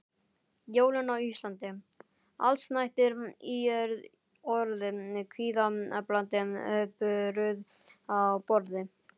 Jólin á Íslandi: Allsnægtir í orði, kvíðablandið bruðl á borði.